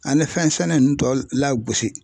Ani fɛn sɛnɛ ninnu tɔ lagosi